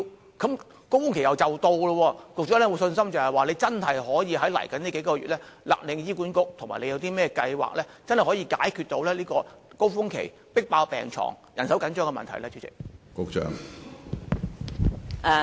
流感高峰期即將來臨，局長是否有信心可以在往後數月勒令醫管局要達標，以及有何計劃解決流感高峰期迫爆病房及人手緊張的問題呢？